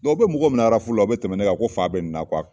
u bɛ mɔgɔw minɛ la o bɛ tɛmɛn n'o ye yan ko faa bɛ ninnu na